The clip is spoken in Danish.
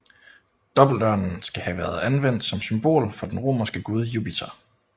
Dobbeltørnen skal have været anvendt som symbol for den romerske gud Jupiter